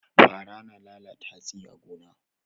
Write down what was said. Fara na lalata hatsi a gona.